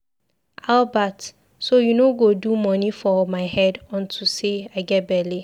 Albert, so you no go do money for my head unto say I get bele.